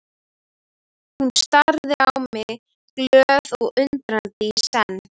Hún starði á mig glöð og undrandi í senn.